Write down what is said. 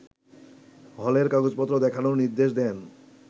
হলের কাগজপত্র দেখানোর নির্দেশ দেন